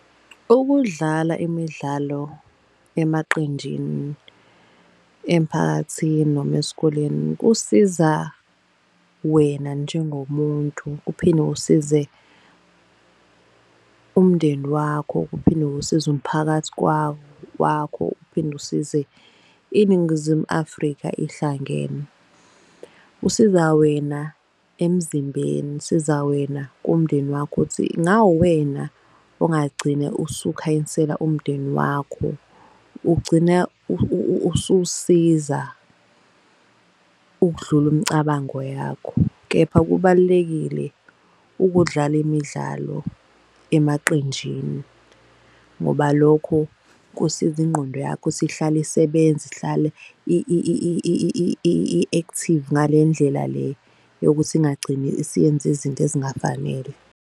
Ukudlala imidlalo emaqenjini emphakathini noma esikoleni kusiza wena njengomuntu, kuphinde kusize umndeni wakho, kuphinde ukusiza umphakathi wakho, uphinde kusize iNingizimu Afrika ihlangene. Usiza wena emzimbeni, isiza wena kumndeni wakho uthi ngawuwena ongagcine usukhanyisela umndeni wakho. Ugcina usuwusiza ukudlula umcabango yakho kepha kubalulekile ukudlala imidlalo emaqenjini. Ngoba lokho kusiza ingqondo yakho ukuthi ihlale isebenza, ihlale i-active ngale ndlela le yokuthi ingagcini isiyenze izinto ezingafanele.